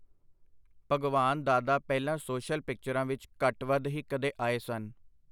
ਭਗਵਾਨ ਦਾਦਾ ਪਹਿਲਾਂ ਸੋਸ਼ਲ ਪਿਕਚਰਾਂ ਵਿਚ ਘੱਟ-ਵੱਧ ਹੀ ਕਦੇ ਆਏ ਸਨ.